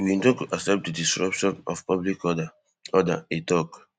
we no go accept di disruption of public order order e tok